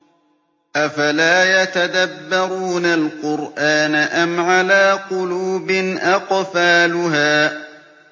أَفَلَا يَتَدَبَّرُونَ الْقُرْآنَ أَمْ عَلَىٰ قُلُوبٍ أَقْفَالُهَا